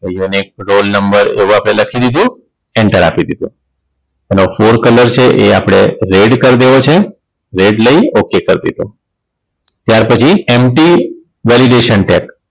Unik roll number એવું આપણે લખી દીધું enter આપી દીધું એનો for colour છે એ આપણે red કર દેવો છે red લઈ okay કરી દીધું ત્યાર પછી np validation tag